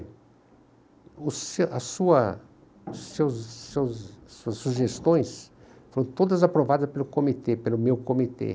Os as sua seus seus seus sugestões foram todas aprovadas pelo comitê, pelo meu comitê.